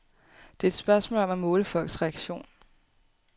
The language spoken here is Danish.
Det er et spørgsmål om at måle folks reaktionen.